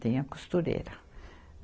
Tinha costureira.